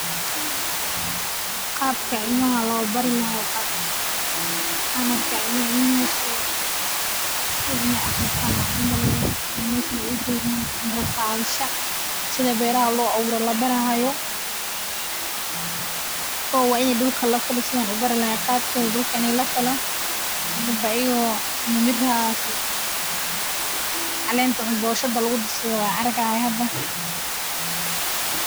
Nafaqadu waa qayb aad muhiim ugu ah caafimaadka iyo nolosha qof kasta, waana habka jidhku u helo dhammaan nafaqooyinka muhiimka ah ee uu u baahan yahay si uu si wanaagsan u shaqeeyo, u koro, una yeesho tamar. Nafaqada wanaagsan waxay ka koobnaan kartaa cuntooyin kala duwan oo ay ku jiraan borotiinno.